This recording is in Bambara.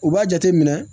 U b'a jate minɛ